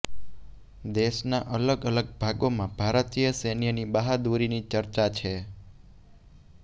દેશના અલગ અલગ ભાગોમાં ભારતીય સૈન્યની બહાદુરીની ચર્ચા છે